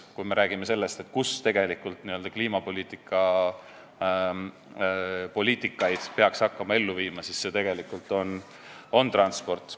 Kui me räägime sellest, kus tegelikult kliimapoliitikat peaks ellu viima, siis see koht on transport.